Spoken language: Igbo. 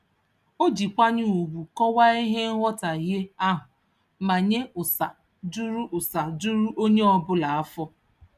O ji nkwanye ugwu kọwaa ihe nghọtaghie ahụ ma nye ụsa juru ụsa juru onye ọbụla afọ.